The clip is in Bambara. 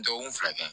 Dɔgɔkun fila kɛ